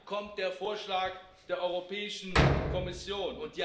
Wann kommt der Vorschlag der Europäischen Kommission?